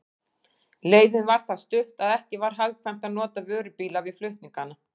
Leiðin var það stutt, að ekki var hagkvæmt að nota vörubíla við flutningana.